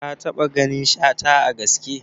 Ka taɓa ganin Shata a gaske?